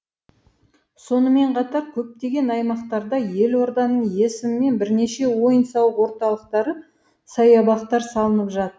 сонымен қатар көптеген аймақтарда елорданың есімімен бірнеше ойын сауық орталықтары саябақтар салынып жатыр